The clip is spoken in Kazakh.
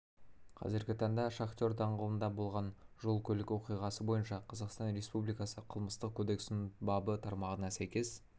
қазіргі таңда шахтер даңғылында болған жол көлік оқиғасы бойынша қазақстан респупубликасы қылмыстық кодексінің бабы тармағына сәйкес